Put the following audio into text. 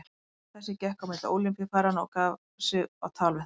Maður þessi gekk á milli Ólympíufaranna og gaf sig á tal við þá.